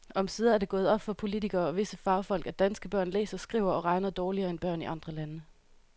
Omsider er det gået op for politikere og visse fagfolk, at danske børn læser, skriver og regner dårligere end børn i andre lande.